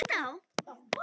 Henni brá hvergi.